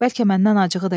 Bəlkə məndən acığı da gəlir.